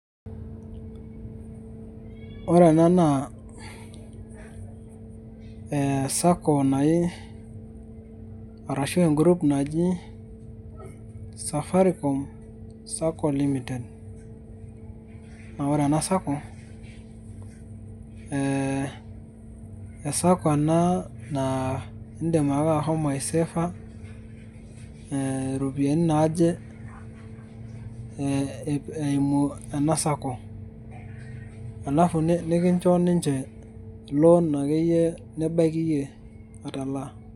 ore ena naa e sacco naji arashu en group naji safaricom sacco limited naa ore ena sacco ee e sacco ena naa indim ake ashomo aiseefa iropiyiani naaje eimu ena sacco alafu nikincho ninche lon akeyie nibaiki iyie atalaa.